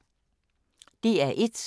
DR1